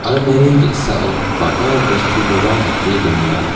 almari ge·sao bang·a bostukoba gate donenga.